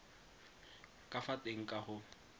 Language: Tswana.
ka fa teng ka go